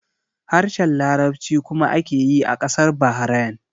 Harshen Larabci kuma ake yi a ƙasar Bahrain